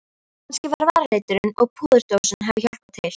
Kannski að varaliturinn og púðurdósin hafi hjálpað til.